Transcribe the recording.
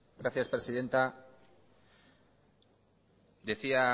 gracias presidenta decía